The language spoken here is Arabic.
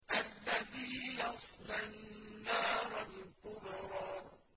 الَّذِي يَصْلَى النَّارَ الْكُبْرَىٰ